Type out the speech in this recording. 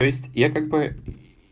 то есть я как бы